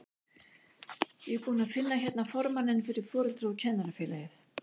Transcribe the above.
Ég er búinn að finna hérna formanninn fyrir Foreldra- og kennarafélagið!